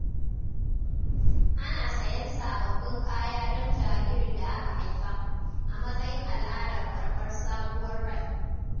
Ana sayan sabbabin kaya don jaririn da aka haifa, a matsayin al’adar karɓar sabuwar rai.